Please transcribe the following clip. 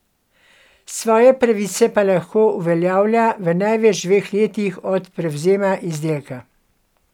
Svoje pravice pa lahko uveljavlja v največ dveh letih od prevzema izdelka.